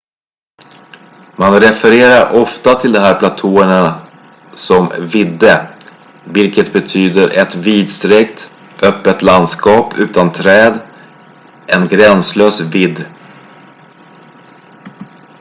"man refererar ofta till de här platåerna som "vidde" vilket betyder ett vidsträckt öppet landskap utan träd en gränslös vidd.